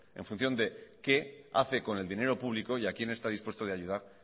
en función de qué hace con el dinero público y a quién está dispuesto de ayudar